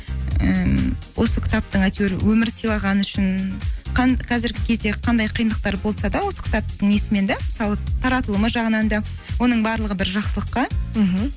і осы кітаптың әйтеуір өмір сыйлағаны үшін қазіргі кезде қандай қиындықтар болса да осы кітаптың несімен де мысалы таратылымы жағынан да оның барлығы бір жақсылыққа мхм